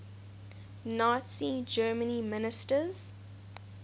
nazi germany ministers